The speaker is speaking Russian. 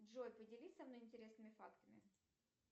джой поделись со мной интересными фактами